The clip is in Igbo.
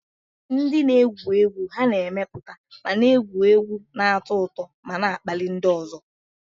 Ndị na-egwu egwu ha na-emepụta ma na-egwu egwu, na-atọ ụtọ ma na-akpali ndị ọzọ.